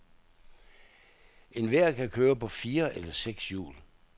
Enhver kan køre på fire eller seks hjul.